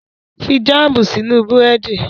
Fi jáàmù sínú Búrẹ́dì!